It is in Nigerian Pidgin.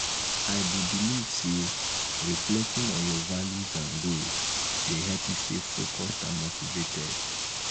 i dey believe say reflecting on your values and goals dey help you stay focused and motivated.